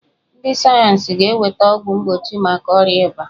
Ndị sayeensị ga-eweta ọgwụ mgbochi maka ọrịa ịba.